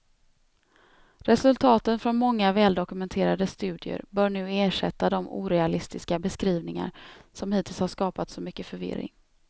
Resultaten från många väldokumenterade studier bör nu ersätta de orealistiska beskrivningar som hittills har skapat så mycket förvirring.